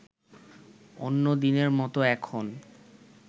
অন্যদিনের মতো এখন